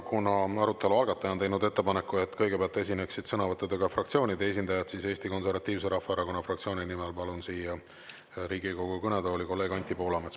Kuna arutelu algataja on teinud ettepaneku, et kõigepealt esineksid sõnavõttudega fraktsioonide esindajad, siis Eesti Konservatiivse Rahvaerakonna fraktsiooni nimel palun siia Riigikogu kõnetooli kolleeg Anti Poolametsa.